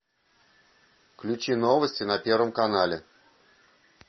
включи новости на первом канале